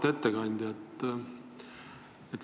Auväärt ettekandja!